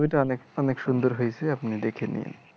ছবিটা অনেক অনেক সুন্দর হইছে আপনি দেখে নিয়েন